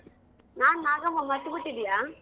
ನಾನ್ Nagamma, ಮರ್ತ್ಬಿಟ್ಟಿದ್ಯ?